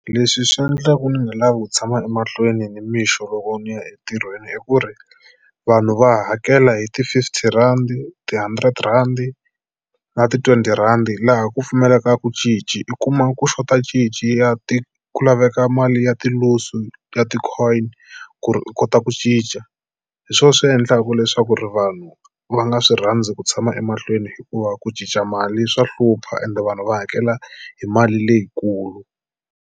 Leswi swi endlaka ni nga lavi ku tshama emahlweni nimixo loko ni ya entirhweni i ku ri vanhu va hakela hi ti-fifty randi, ti-hundred rand na ti-twenty rhandi laha ku pfumalekaka cinci. I kuma ku xota cinci ya ti ku laveka mali ya ti-loose u ya ti-coin ku ri u kota ku cinca hi swona swi endlaka leswaku ri vanhu va nga swi rhandzi ku tshama emahlweni hikuva ku cinca mali swa hlupha ende vanhu va hakela hi mali leyikulu.